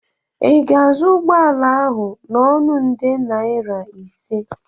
ị ga-azụ ụgbọ ala ahụ n'ọnụ nde naira ise?